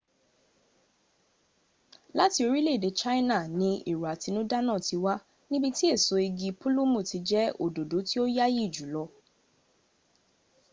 láti orílèèdè china ni èrò àtinúdá náà ti wá níbi tí èso igi púlùmù ti jẹ́ òdòdó tí ó yááyì jùlọ